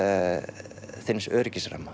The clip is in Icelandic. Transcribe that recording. þíns